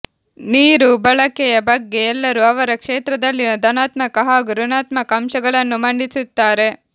ನೀರು ಬಳಕೆಯ ಬಗ್ಗೆ ಎಲ್ಲರೂ ಅವರ ಕ್ಷೇತ್ರದಲ್ಲಿನ ಧನಾತ್ಮಕ ಹಾಗೂ ಋಣಾತ್ಮಕ ಅಂಶಗಳನ್ನು ಮಂಡಿಸುತ್ತಾರೆ